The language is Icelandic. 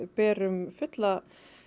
berum fullar